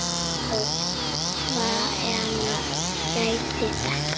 Og hvenær gerðist þetta?